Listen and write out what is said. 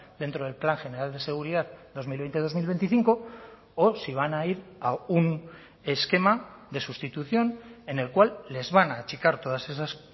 dentro del plan general de seguridad dos mil veinte dos mil veinticinco o si van a ir a un esquema de sustitución en el cual les van a achicar todas esas